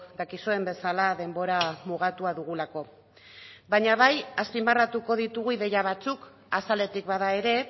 dakizuen bezala denbora mugatua dugulako baina bai azpimarratuko ditugu ideia batzuk azaletik bada ere